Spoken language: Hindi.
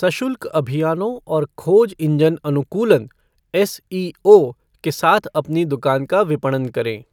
सशुल्क अभियानों और खोज इंजन अनुकूलन एसईओ के साथ अपनी दुकान का विपणन करें।